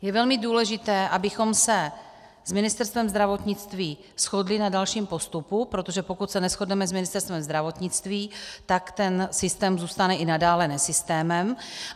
Je velmi důležité, abychom se s Ministerstvem zdravotnictví shodli na dalším postupu, protože pokud se neshodneme s Ministerstvem zdravotnictví, tak ten systém zůstane i nadále nesystémem.